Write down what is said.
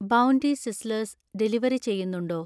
bounty Sizzlers delivery ചെയ്യുന്നുണ്ടോ